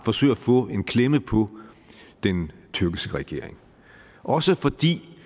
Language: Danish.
forsøger at få en klemme på den tyrkiske regering også fordi